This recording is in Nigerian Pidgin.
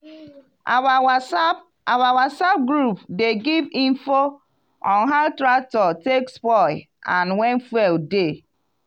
our whatsapp our whatsapp group dey give info on how tractor take spoil and when fuel dey.